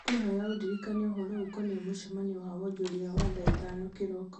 ngũkwĩhoya ũndirikanie ũhoro ũkoniĩ mũcemanio wa wonjoria wa thaa ithano kĩroko